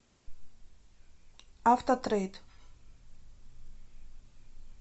автотрейд